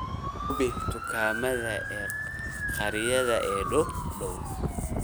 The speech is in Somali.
Hubi dukaamada khariidadaha ii dhow